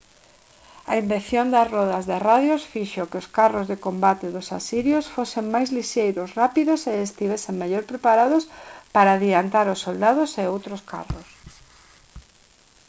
a invención das rodas de radios fixo que os carros de combate dos asirios fosen máis lixeiros rápidos e estivesen mellor preparados para adiantar aos soldados e outros carros